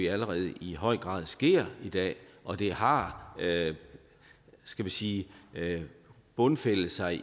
allerede i høj grad sker i dag og det har skal vi sige bundfældet sig